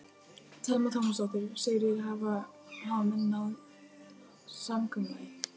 Telma Tómasson: Sigríður, hafa menn náð samkomulagi?